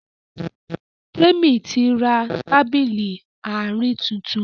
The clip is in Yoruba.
Temi tí rá Tábìlì Àárín títún